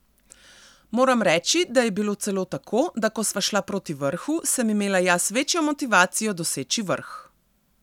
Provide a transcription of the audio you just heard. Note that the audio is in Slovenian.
Moram reči, da je bilo celo tako, da ko sva šla proti vrhu, sem imela jaz večjo motivacijo doseči vrh.